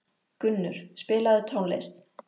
Gunnur, spilaðu tónlist.